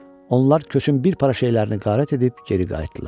Onlar köçün bir para şeylərini qərat edib geri qayıtdılar.